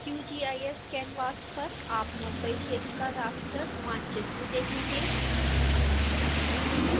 qgis canvas पर आप mumbai क्षेत्र का raster मानचित्र देखेंगे